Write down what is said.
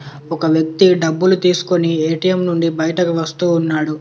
ఒక వ్యక్తి డబ్బులు తీసుకొని ఏ_టీ_ఎం నుండి బయటకి వస్తూ ఉన్నాడు.